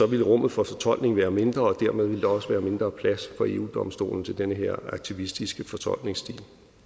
ville rummet for fortolkning være mindre og dermed ville der også være mindre plads for eu domstolen til den her aktivistiske fortolkningsstil